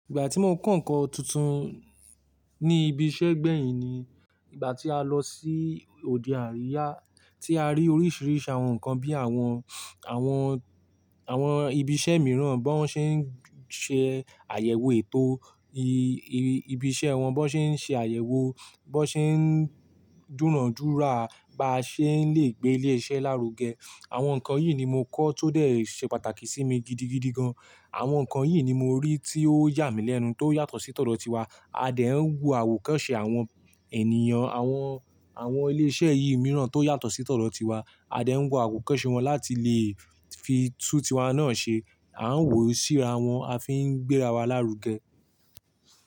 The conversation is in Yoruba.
Ìgbà tí mo kọ́ ǹkan tuntun ní ibi iṣẹ́ gbẹ̀yìn ni, ìgbà tí a lọ sí òde àríyá tí a rí oríṣìíríṣìí àwọn ǹkan bí i àwọn, àwọn, àwọn ibi iṣẹ́ mìíràn bó ṣe ń ṣe àyẹ̀wò ètò i-i-i ibi iṣẹ́ wọn, bó ṣe ń ṣe àyẹ̀wò, bó ṣe ń dúrọ̀dúra, bá ṣe ń lè gbé ilé iṣẹ́ lárugẹ. Àwọn ǹkan yìí ni mo kọ́ tó dé ṣe pàtàkì sí mi gidigidi gan. Àwọn ǹkan yìí ni mo rí tí ó yà mí lẹ́nu tí ó yàtọ̀ sí tọ̀ dọ́tí wa. A dẹ̀ ń wo àwòkọ́ṣe àwọn ènìyàn, àwọn, àwọn ilé iṣẹ́ yìí mìíràn tó yàtọ̀ sí tọ̀ dọ́tí wa. A dẹ̀ ń wo àwòkọ́ṣe wọn láti lè fi tú ti wa náà ṣe. A ń wòṣìra wọ́n, a fi ń gbéra wa lárugẹ.